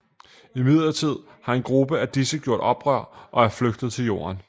Imidlertid har en gruppe af disse gjort oprør og er flygtet til Jorden